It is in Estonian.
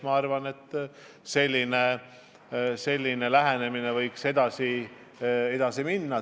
Ma arvan, et selline lähenemine võiks jääda.